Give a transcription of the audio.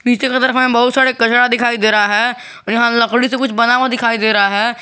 पीछे के तरफ में बहुत सारे कचरा दिखाई दे रहा है और यहां लकड़ी से कुछ बना हुआ दिखाई दे रहा है।